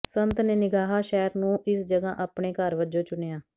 ਸੰਤ ਨੇ ਨਿਗਾਹਾ ਸ਼ਹਿਰ ਨੂੰ ਇਸ ਜਗ੍ਹਾ ਆਪਣੇ ਘਰ ਵਜੋਂ ਚੁਣਿਆ